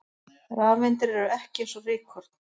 Rafeindir eru ekki eins og rykkorn!